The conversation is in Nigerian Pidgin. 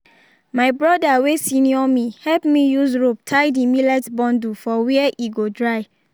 my broda wey senior me help me use rope tie the millet bundle for where e go dry